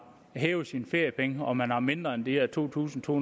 hævet sine feriepenge og man har mindre end de her to tusind to